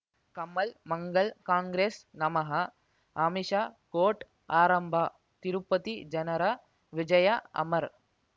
ಕಮಲ್ ಮಂಗಳ್ ಕಾಂಗ್ರೆಸ್ ನಮಃ ಅಮಿಷ ಕೋರ್ಟ್ ಆರಂಭ ತಿರುಪತಿ ಜನರ ವಿಜಯ ಅಮರ್